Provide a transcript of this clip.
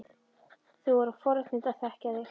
Það voru forréttindi að þekkja þig.